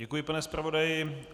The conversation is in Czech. Děkuji, pane zpravodaji.